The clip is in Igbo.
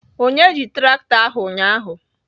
Onye ji traktọ ahụ ụnyaahụ?